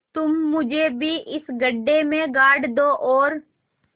तुम मुझे भी इस गड्ढे में गाड़ दो और